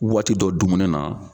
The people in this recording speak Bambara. Waati dɔ dumuni na.